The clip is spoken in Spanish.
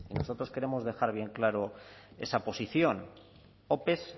nosotros queremos dejar bien claro esa posición ope